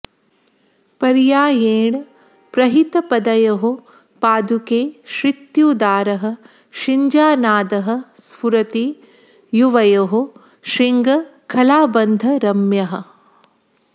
पर्यायेण प्रहितपदयोः पादुके श्रुत्युदारः शिञ्जानादः स्फुरति युवयोः श्रृङ्खलाबन्धरम्यः